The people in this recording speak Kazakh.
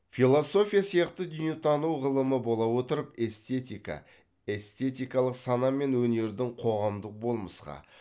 философия сияқты дүниетану ғылымы бола отырып эстетика эстетикалық сана мен өнердің қоғамдық болмысқа